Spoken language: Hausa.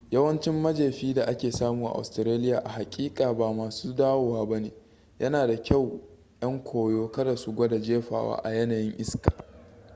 yawancin majefi da ake samu a australia a haƙiƙa ba masu dawowa ba ne yana da kyau 'yan koyo kada su gwada jefawa a yanayin iska